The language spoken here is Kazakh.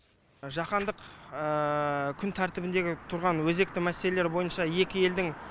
жаһандық күн тәртібіндегі тұрған өзекті мәселелер бойынша екі елдің